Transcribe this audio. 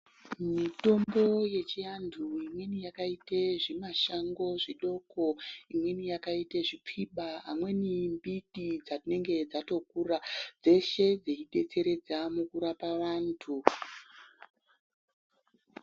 Mitombo yechiantu imweni yakaite zvimashango zvidoko imweni yakite zvipfiba aweni mbiti dzatinenge dzatokura dzeshe dzeidetseredza mukurapa vantu.